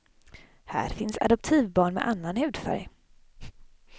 Här finns adoptivbarn med annan hudfärg.